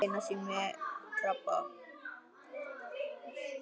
Lena sé með krabba.